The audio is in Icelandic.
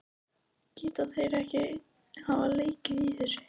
Geta þeir ekki hafa lekið þessu?